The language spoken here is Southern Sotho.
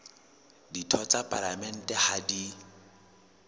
ditho tsa palamente ha di